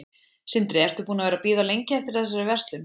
Sindri: Ertu búin að vera að bíða lengi eftir þessari verslun?